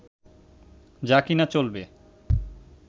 যা কি-না চলবে